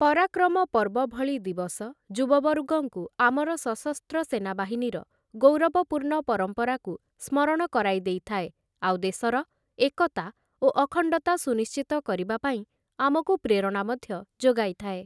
ପରାକ୍ରମ ପର୍ବ ଭଳି ଦିବସ, ଯୁବବର୍ଗଙ୍କୁ ଆମର ସଶସ୍ତ୍ର ସେନାବାହିନୀର ଗୌରବପୂର୍ଣ୍ଣ ପରମ୍ପରାକୁ ସ୍ମରଣ କରାଇ ଦେଇଥାଏ ଆଉ ଦେଶର ଏକତା ଓ ଅଖଣ୍ଡତା ସୁନିଶ୍ଚିତ କରିବା ପାଇଁ ଆମକୁ ପ୍ରେରଣା ମଧ୍ୟ ଯୋଗାଇଥାଏ ।